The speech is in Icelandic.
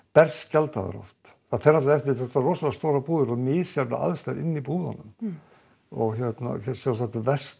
berskjaldaðar oft þetta eru rosalega stórar búðir og misjafnar aðstæður innan búðanna sjálfstætt verst